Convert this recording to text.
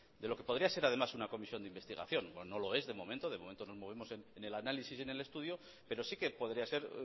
de lo que podría ser además una comisión de investigación no lo es de momento de momento nos movemos en el análisis y en el estudio pero sí que podría ser